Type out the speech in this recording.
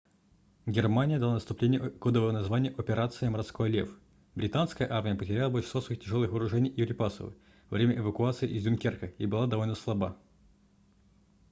германия дала наступлению кодовое название операция морской лев британская армия потеряла большинство своих тяжелых вооружений и припасов во время эвакуации из дюнкерка и была довольно слаба